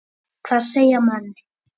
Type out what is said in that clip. Hvað segja menn?